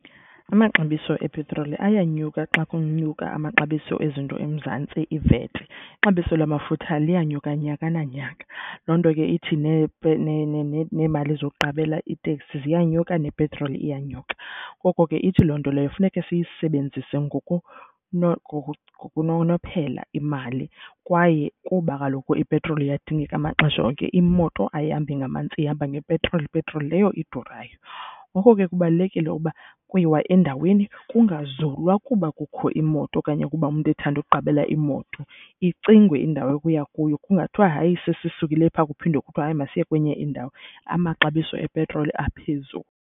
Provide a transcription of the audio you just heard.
Amaxabiso epetroli ayanyuka xa kunyuka amaxabiso ezinto eMzantsi, iVAT. Ixabiso lamafutha liyenyuka nyaka nanyaka, loo nto ke ithi neemali zokuqabela iiteksi ziyanyuka nepetroli iyanyuka. Ngoko ke ithi loo nto leyo funeka siyisebenzise ngokunonophela imali kwaye kuba kaloku ipetroli iyadingeka amaxesha onke. Imoto ayihambi ngamanzi ihamba ngepetroli, ipetroli leyo idurayo. Ngoko ke kubalulekile ukuba kuyiwa endaweni kungazulwa kuba kukho imoto okanye ukuba umntu ethanda ukuqabela imoto, icingwe indawo ekuya kuyo. Kungathiwa hayi sesisukile phaa kuphinde kuthiwe hayi masiye kwenye indawo, amaxabiso epetroli aphezulu.